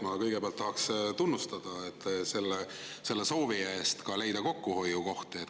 Ma kõigepealt tahaks tunnustada soovi eest leida ka kokkuhoiukohti.